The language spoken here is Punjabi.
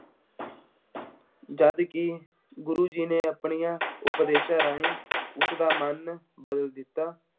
ਜਦਕਿ ਗੁਰੂ ਜੀ ਨੇ ਅਪਣਿਆਂ ਉਪਦੇਸ਼ਾਂ ਰਾਹੀ ਉਸਦਾ ਮਨ ਬਦਲ ਦਿੱਤਾ।